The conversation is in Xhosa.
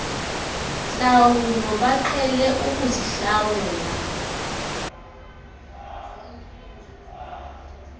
ntlawulo baqhele ukuzihlawula